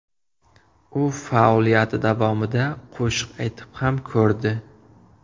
U faoliyati davomida qo‘shiq aytib ham ko‘rdi.